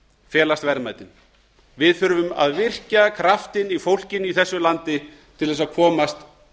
felast verðmætin við þurfum að virkja kraftinn í fólkinu í þessu landi til þess að komast